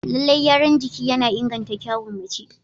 Lallai gyaran jiki yana inganta kyawun mace.